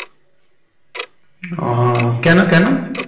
ওহ কেন কেন?